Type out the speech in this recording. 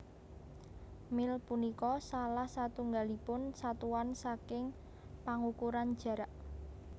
Mil punika salah satunggalipun satuan saking pangukuran jarak